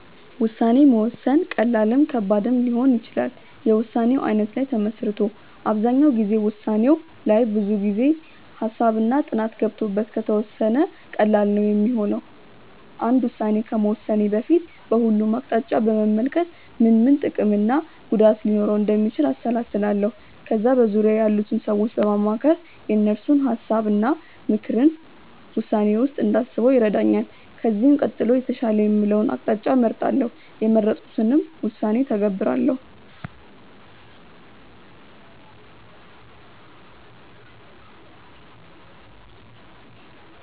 ውሳኔ መወሰን ቀላልም ከባድም ሊሆን ይችላል የውሳኔው አይነት ላይ ተመስርቶ። አብዛኛው ጊዜ ውሳኔው ላይ ብዙ ጊዜ፣ ሃሳብ እና ጥናት ገብቶበት ከተወሰነ ቀላል ነው ሚሆነው። አንድ ውስን ከመወሰኔ በፊት በሁሉም አቅጣጫ በመመልከት ምን ምን ጥቅም እና ጉዳት ሊኖረው እንደሚችል አሰላስላለው። ከዛ በዙርያዬ ያሉትን ሰዎች በማማከር የእነሱን ሀሳብ እና ምክርን ውሳኔዬ ውስጥ እንዳስበው ይረዳኛል። ከዚህም ቀጥሎ የተሻለ የምለውን አቅጣጫ እመርጣለው። የመረጥኩትንም ውሳኔ እተገብራለው።